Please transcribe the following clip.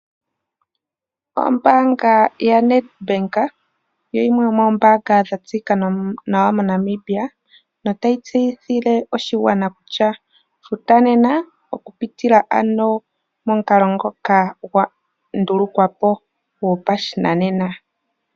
Ombaanga yaNedBank oyo yimwe yoomoombaanga dha tseyika nawa mo Namibia notayi tseyithile oshigwana kutya futa nena oku pitila ano momukalo ngoka gwa ndulukwapo gwopashinanena.